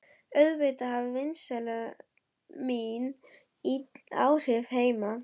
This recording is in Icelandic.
Auðvitað hafði vínneysla mín ill áhrif heima.